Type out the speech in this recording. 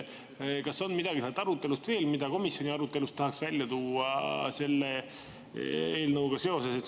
Kas on veel midagi head öelda arutelu kohta, mida komisjoni arutelust tahaks välja tuua selle eelnõuga seoses?